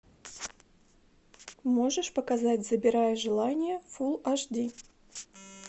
можешь показать забирай желание фулл аш ди